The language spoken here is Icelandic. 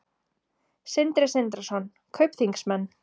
Sindri Sindrason: Kaupþingsmenn?